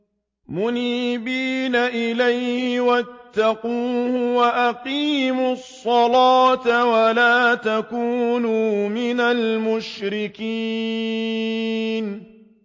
۞ مُنِيبِينَ إِلَيْهِ وَاتَّقُوهُ وَأَقِيمُوا الصَّلَاةَ وَلَا تَكُونُوا مِنَ الْمُشْرِكِينَ